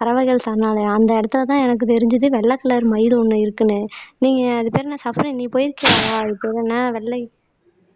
பறவைகள் சரணாலயம் அந்த இடத்துலதான் எனக்கு தெரிஞ்சது வெள்ளை கலர் மயில் ஒண்ணு இருக்குன்னு நீங்க அதுக்கு பேரு என்ன சஃப்ரின் நீ போயிருக்கியா அது பெரு என்ன வெள்ளை